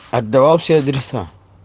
отдавал все адреса